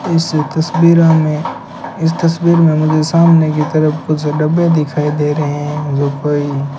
इस तस्वीरा में इस तस्वीर में मुझे सामने की तरफ कुछ डब्बे दिखाई दे रहे हैं जो कई --